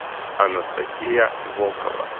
анастасия волкова